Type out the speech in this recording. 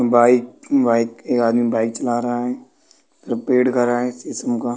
By-bike एक आदमी bike चला रहा है कर रहा है यी सब का।